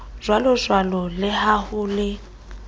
jwalojwalo le ha ho le